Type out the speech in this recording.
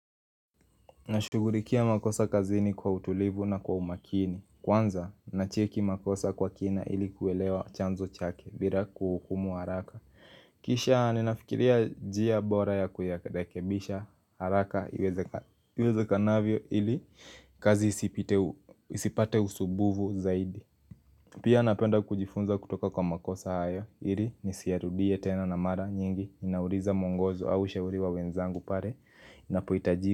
Nashugulikia makosa kazini kwa utulivu na kwa umakini Kwanza, nacheki makosa kwa kina ilikuelewa chanzo chake Bira kuhukumu haraka Kisha ninafikiria jia bora ya kuyarekebisha haraka iwezeka iweze kanavyo ili kazi isipite isipate usubuvu zaidi Pia napenda kujifunza kutoka kwa makosa haya ili nisiyarudie tena na mara nyingi ninauliza mwongozo au ushauri wa wenzangu pale Inapo itaji.